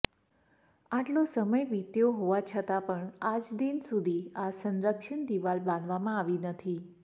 આટલો સમય વિત્યો હોવા છતાં પણ આજદિન સુધી આ સંરક્ષણ દિવાલ બાંધવામાં આવી નથી